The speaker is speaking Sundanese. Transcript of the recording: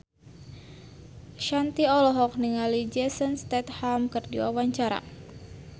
Shanti olohok ningali Jason Statham keur diwawancara